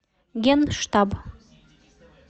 генштаб